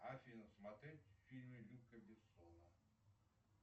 афина смотреть фильмы люка бессона